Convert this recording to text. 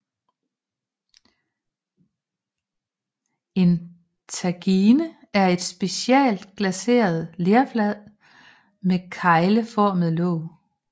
En tagine er et specielt glaceret lerfad med kegleformet låg